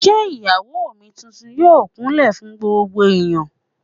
Ṣé Ìyàwó mi tuntun yóò kún lẹ̀ fún gbogbo ẹ̀yán?